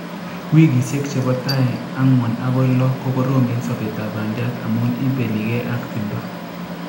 wikisiek chebo tai angwan agoi lo kokoroom en sobetab bandiat amu ibelige ak timdo.